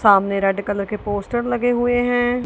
सामने red colour के poster लगे हुएं हैं।